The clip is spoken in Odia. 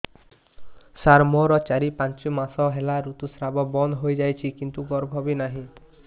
ସାର ମୋର ଚାରି ପାଞ୍ଚ ମାସ ହେଲା ଋତୁସ୍ରାବ ବନ୍ଦ ହେଇଯାଇଛି କିନ୍ତୁ ଗର୍ଭ ବି ନାହିଁ